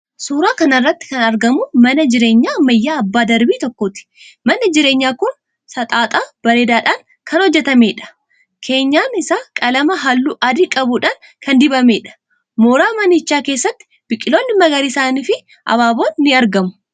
Suuraa kana irratti kan argamu mana jireenyaa ammayyaa abbaa darbii tokkooti. Manni jireenyaa kun saxaxa bareedaadhaan kan hojjetameedha. Keenyan isaa qalama halluu adii qabuudhaan kan dibameedha. Mooraa manichaa keessatti biqiltoonni magariisniifi abaaboon ni argamu.